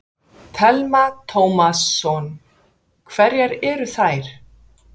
Telma Tómasson: Hverjar eru þær?